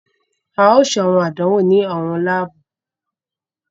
A ò ṣe awọn àdánwò ni awọn laabu.